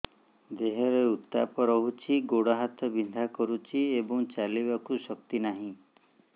ଦେହରେ ଉତାପ ରହୁଛି ଗୋଡ଼ ହାତ ବିନ୍ଧା କରୁଛି ଏବଂ ଚାଲିବାକୁ ଶକ୍ତି ନାହିଁ